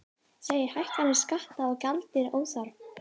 Segir hækkanir skatta og gjalda óþarfar